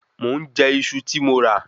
Mò ń jẹ Iṣu ti mọ ra